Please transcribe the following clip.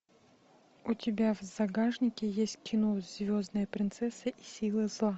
у тебя в загашнике есть кино звездная принцесса и силы зла